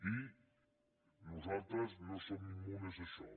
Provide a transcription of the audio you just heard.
i nosaltres no som immunes a això